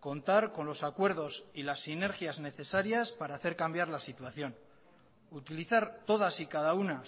contar con los acuerdos y las sinergias necesarias para hacer cambiar la situación utilizar todas y cada una